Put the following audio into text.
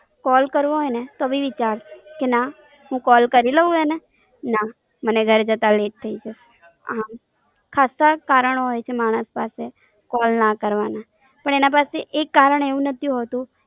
Call કરવો હોઈ ને તો બી વીચાર આવે, કે ના હું Call કરી લવ એને, ના મને ઘરે જતા Let થઇ છે. હા ખાસ્સા જ કારણો હોઈ છે. માણસ પાસે Call ના કરવાના. પણ એના પાસે એક કારણ એવું નથી હોતું.